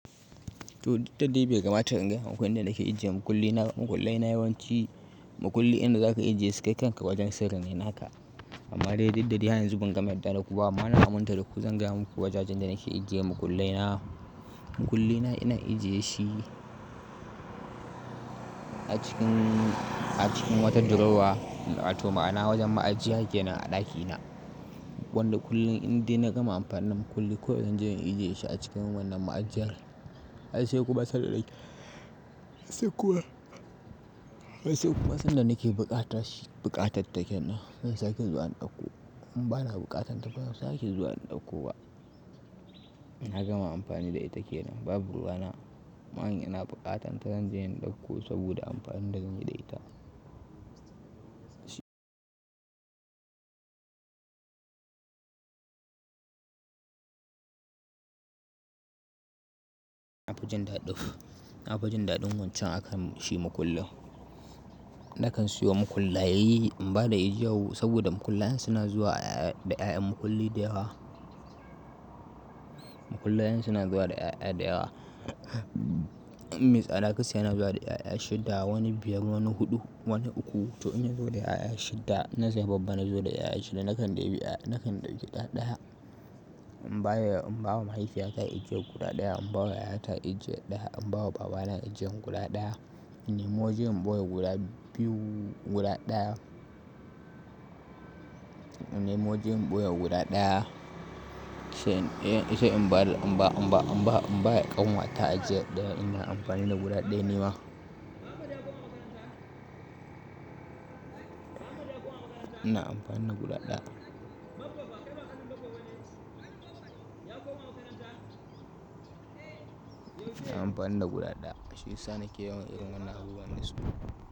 To duk da dai bai kamata in gaya maku inda nake aje ijiye makullina, makullaina yawanci makulli inda za ka ijeye su kai kanka wajen sirrine naka amma dai didda dai har yanzu ban gama yadda daku amma na aminta da ku zan gaya muku wajajen da nake ijiye mukullai na. Mukulli na ina ijiye shi a cikin, a cikin wata dirowa, wato ma'ana wajen ma'ajiya kenan a ɗakina. Wanda kullum indai na gama amfani da makulli ko yanzu zan je in ijiye shi a cikin wannan ma'ajiyar. Ai sai kuma sadda nake se kuma ai se kuma sadda nake buƙatarshi buƙatarta kenan zan sake zuwa in ɗakko in ba na buƙata ta ban sake zuwa in ɗakko ba. Na gama amfani da ita ke nan. Babu ruwa na. Amman in ina buƙatan ta zan je in ɗauko saboda amfanin da zan yi da ita. Na fi jin daɗi nafi jin daɗin wancan akan shi mukullin. Nakan siyo mukullaye in ba da ijiya saboda mukullayen suna zuwa da 'ƴaƴan mukulli da yawa. Mukullayen suna zuwa da ƴaƴa da yawa. Mai tsada gasya yana zuwa da ƴaƴa shidda wani biyar, wani huɗu, wani uku. To inya zo da ƴaƴa shidda na sai babba na zo da ƴaƴa shidda nakan ɗebi ƴa nakan ɗebi ɗa ɗaya. In bawa mahaifiyata ijiyan guda ɗaya in bawa yayata ijen ɗaya in bawa babana ijiyan guda ɗaya. In nemi waje in ɓoye guda biyu guda ɗaya. In nemi waje in ɓoye guda ɗaya. Sai in ba da, in ba, in ba, in b a, in ba ƙanwata ajiye ɗaya ina amfani da guda ɗaya nima ina amfani da guda ɗaya. Ina amfani da guda ɗaya. Shi yasa nake yawan irin wannan abubuwan dasu.